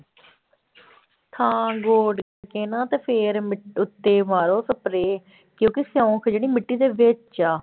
ਹਾਂ ਗੋਡ ਕੇ ਨਾ ਤੇ ਫਿਰ ਮਿ ਉੱਤੇ ਮਾਰੋ spray ਕਿਉਂਕਿ ਸਿਉਂਖ ਜਿਹੜੀ ਮਿੱਟੀ ਦੇ ਵਿੱਚ ਆ